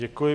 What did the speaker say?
Děkuji.